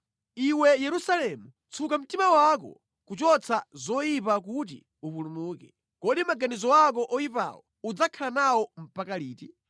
Iwe Yerusalemu, tsuka mtima wako kuchotsa zoyipa kuti upulumuke. Kodi maganizo ako oyipawo udzakhala nawo mpaka liti?